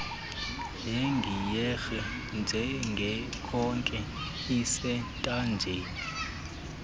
legiyeri njengekhoki esentanjeni